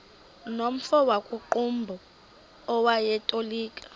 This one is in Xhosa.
nomfo wakuqumbu owayetolika